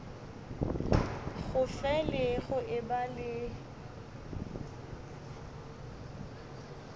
go fele go eba le